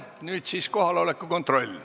Nüüd teeme kohaloleku kontrolli.